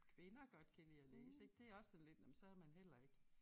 Kvinder godt kan lidt at læse ik det også sådan lidt nåh men så man heller ikke